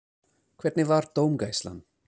Hvernig var dómgæslan?